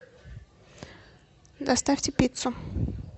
доставьте пиццу